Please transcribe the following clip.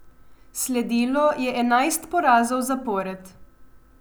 Sledilo je enajst porazov zapored.